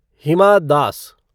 Hima Das